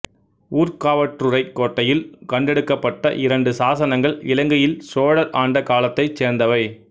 ஊர்காவற்றுறைக் கோட்டையில் கண்டெடுக்கப்பட்ட இரண்டு சாசனங்கள் இலங்கையில் சோழர் ஆண்ட காலத்தைச் சேர்ந்தவை